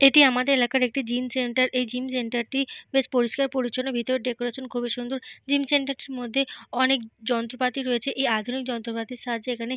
এটি আমাদের এলাকার একটি জিম সেন্টার । এই জিম সেন্টার - টি বেশ পরিষ্কার পরিছন্ন। ভেতরের ডেকোরেশন খুবই সুন্দর। জিম সেন্টার - টির মধ্যে অনেক যন্ত্রপাতি রয়েছে। এই আধুনিক যন্ত্রপাতির সাহায্যে এখানে --